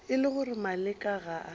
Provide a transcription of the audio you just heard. e le gore maleka ga